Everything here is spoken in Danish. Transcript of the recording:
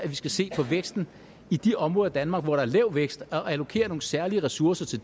skal se på væksten i de områder af danmark hvor der er lav vækst og allokere nogle særlige ressourcer til